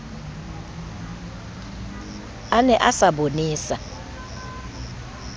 a ne a sa bonesa